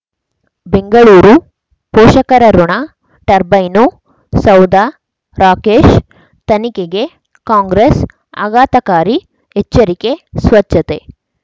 ಬೆಂಗಳೂರು ಪೋಷಕರಋಣ ಟರ್ಬೈನು ಸೌಧ ರಾಕೇಶ್ ತನಿಖೆಗೆ ಕಾಂಗ್ರೆಸ್ ಆಘಾತಕಾರಿ ಎಚ್ಚರಿಕೆ ಸ್ವಚ್ಛತೆ